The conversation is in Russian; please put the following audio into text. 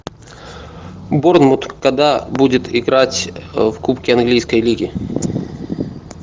борнмут когда будет играть в кубке английской лиги